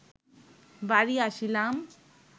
বাড়ি আসিলাম